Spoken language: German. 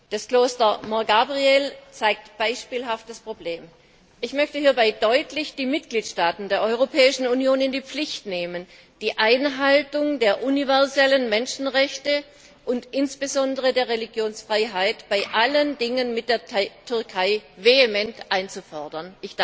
Das Kloster Mor Gabriel zeigt beispielhaft das Problem. Ich möchte hierbei deutlich die Mitgliedstaaten der Europäischen Union in die Pflicht nehmen, die Einhaltung der universellen Menschenrechte und insbesondere der Religionsfreiheit in allen Verhandlungen mit der Türkei vehement einzufordern.